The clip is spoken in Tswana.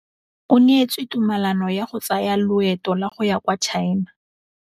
O neetswe tumalanô ya go tsaya loetô la go ya kwa China.